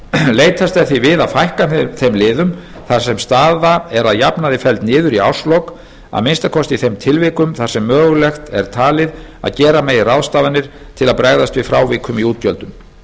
leitast er því við að fækka þeim liðum þar sem staða er að jafnaði felld niður í árslok að minnsta kosti í þeim tilfellum þar sem mögulegt er talið að gera megi ráðstafanir til að bregðast við frávikum í útgjöldum